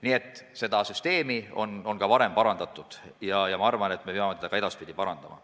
Nii et seda süsteemi on juba parandatud, aga ma arvan, et me peame seda ka edaspidi parandama.